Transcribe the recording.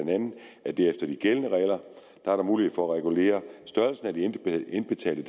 at der efter de gældende regler er mulighed for at regulere størrelsen af de indbetalte